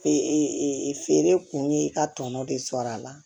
Fe e feere kun ye i ka tɔnɔ de sɔrɔ a la